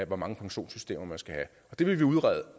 hvor mange pensionssystemer man skal have det vil vi udrede